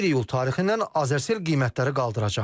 1 iyul tarixindən Azercell qiymətləri qaldıracaq.